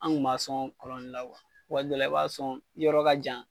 An kun b'a sɔn kɔlɔn de la kuwa waati dɔw la i b'a sɔn yɔrɔ ka jan